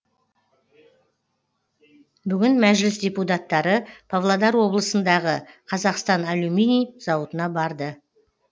бүгін мәжіліс депутаттары павлодар облысындағы қазақстан алюминий зауытына барды